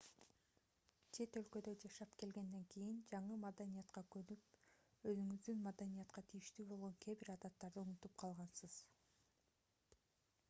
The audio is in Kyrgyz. чет өлкөдө жашап келгенден кийин жаңы маданиятка көнүп өзүңүздүн маданиятка тийиштүү болгон кээ бир адаттарды унутуп калгансыз